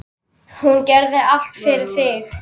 Hún gerði allt fyrir þig.